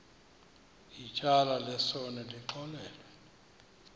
ityala lesono lixolelwe